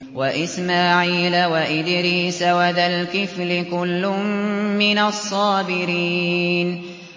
وَإِسْمَاعِيلَ وَإِدْرِيسَ وَذَا الْكِفْلِ ۖ كُلٌّ مِّنَ الصَّابِرِينَ